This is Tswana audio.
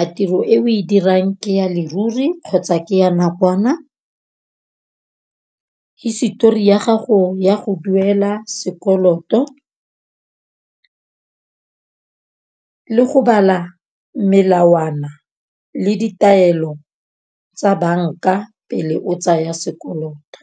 a tiro e o e dirang ke ya leruri kgotsa ke ya nakwana. Hisetori ya gago ya go duela sekoloto le go bala melawana le ditaelo tsa banka pele o tsaya sekoloto.